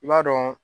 I b'a dɔn